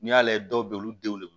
N'i y'a lajɛ dɔw bɛ olu denw de wele